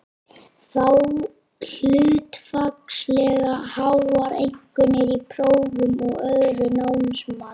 Fá hlutfallslega háar einkunnir í prófum og öðru námsmati.